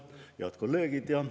Head kolleegid!